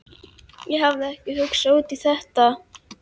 Ég hafði ekki hugsað út í þetta.